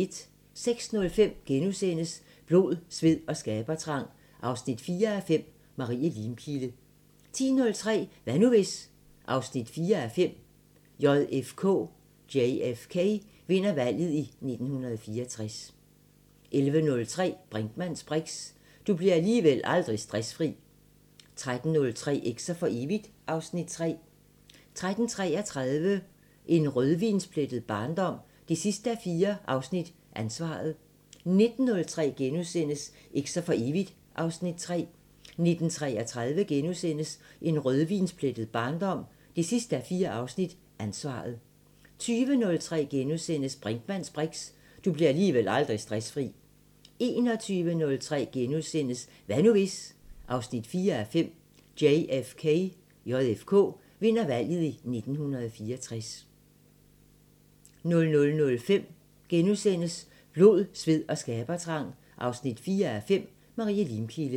06:05: Blod, sved og skabertrang 4:5 – Marie Limkilde * 10:03: Hvad nu hvis...? 4:5 – JFK vinder valget i 1964 11:03: Brinkmanns briks: Du bliver alligevel aldrig stressfri 13:03: Eks'er for evigt (Afs. 3) 13:33: En rødvinsplettet barndom 4:4 – Ansvaret 19:03: Eks'er for evigt (Afs. 3)* 19:33: En rødvinsplettet barndom 4:4 – Ansvaret * 20:03: Brinkmanns briks: Du bliver alligevel aldrig stressfri * 21:03: Hvad nu hvis...? 4:5 – JFK vinder valget i 1964 * 00:05: Blod, sved og skabertrang 4:5 – Marie Limkilde *